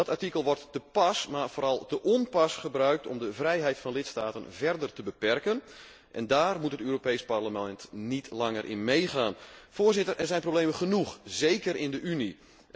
Dat artikel wordt te pas, maar vooral te onpas gebruikt om de vrijheid van lidstaten verder te beperken en daar moet het Europees Parlement niet langer in meegaan. Voorzitter, er zijn problemen genoeg, zeker in de Unie.